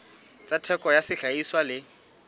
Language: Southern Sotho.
tsa theko ya sehlahiswa le